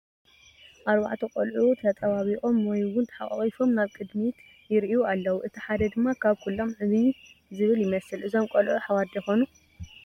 4 ቆልዑ ተጣባቢቆም ወይ እውን ተሓቋቋፎም ናብ ቅድሚት ይሪኡ ኣለው፡፡ እቲ ሓደ ድማ ካብ ኩሎም ዕብይ ዝብል ይመስል፡፡ እዞም ቆልዑ ኣሕዋት ዶ ይኾኑ?